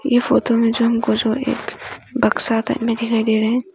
यह फोटो में जो हमको जो एक बक्सा दिखाई दे रहे हैं।